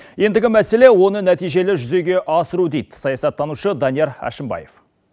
ендігі мәселе оны нәтижелі жүзеге асыру дейді саясаттанушы данияр әшімбаев